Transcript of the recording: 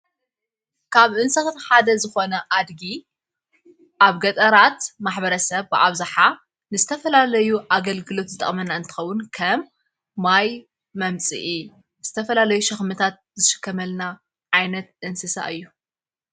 ካብ እንስኽቲሓደ ዝኾነ ኣድጊ ኣብ ገጠራት ማኅበረ ሰብ ዓብዙሓ ንዝተፈላለዩ ኣገልግሎት ዝጣመና እንተኸዉን ከም ማይ መምጺኢ ንዝተፈላለዩ ሸኽምታት ዘሽከመልና ዓይነት እንስሳ እዩ።